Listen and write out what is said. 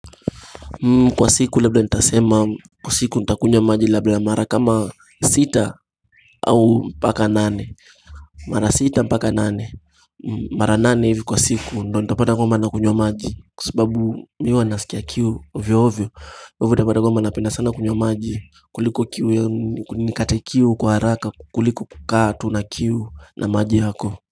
Kwa siku labda nitasema kwa siku nitakunywa maji labda mara kama sita au mpaka nane Mara sita mpaka nane, mara nane hivi kwa siku ndo nitapata kwamba nakunywa maji Kwa sababu miwa nasikia kiu ovyo ovyo ivio tapata kwamab napenda sana kunywa maji kuliko kiu nikate kiu kwa haraka kuliko kukaa tu na kiu na maji yako.